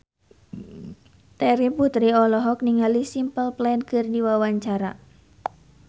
Terry Putri olohok ningali Simple Plan keur diwawancara